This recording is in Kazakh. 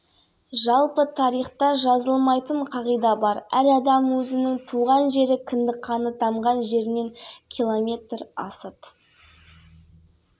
кетсе ол жыл өткенде барып тұруы шарт екен физиологиялық заңдылық дейді ғылыми тұрғыда дәлелденген өйткені